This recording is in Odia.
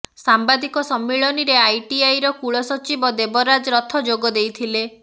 ସାମ୍ବାଦିକ ସମ୍ମିଳନୀରେ ଆଇଆଇଟିର କୁଳ ସଚିବ ଦେବରାଜ ରଥ ଯୋଗ ଦେଇଥିଲେ